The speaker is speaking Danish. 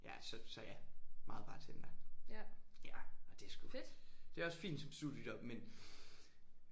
Ja så så ja meget bartender. Ja og det er sgu. Det er også fint som studiejob men